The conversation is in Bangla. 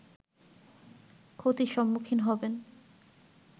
ক্ষতির সম্মুখীন হবেন